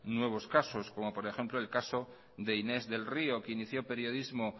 nuevos casos como por ejemplo el caso de inés del río que inició periodismo